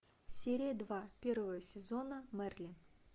серия два первого сезона мерлин